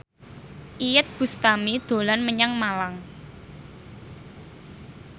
Iyeth Bustami dolan menyang Malang